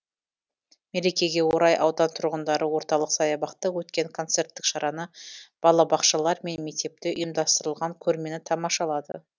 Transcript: мерекеге орай аудан тұрғындары орталық саябақта өткен концерттік шараны балабақшалар мен мектепте ұйымдастырылған көрмені тамашалады